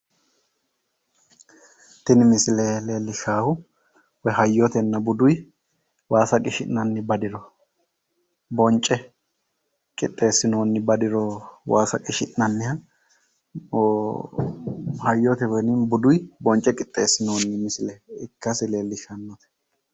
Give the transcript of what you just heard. Tini misile leellishshaahu hayyotenna buduyi waasa qishi'nanni badiro bonce qixxeessinoonni badiro waasa qishi'nanniha hayyote woyi buduyi bonce qixxeessinoonni misile ikkasi leellishshannote.